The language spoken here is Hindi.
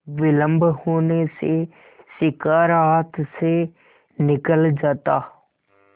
विलम्ब होने से शिकार हाथ से निकल जाता